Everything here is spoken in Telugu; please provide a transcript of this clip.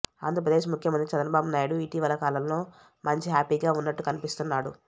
ఆంధ్రప్రదేశ్ ముఖ్యమంత్రి చంద్రబాబు నాయుడు ఇటీవల కాలంలో మంచి హ్యాపీగా ఉన్నట్టు కనిపిస్తున్నాడు